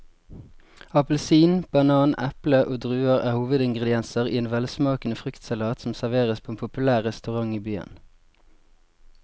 Appelsin, banan, eple og druer er hovedingredienser i en velsmakende fruktsalat som serveres på en populær restaurant i byen.